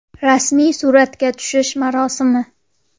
Rasmiy suratga tushish marosimi.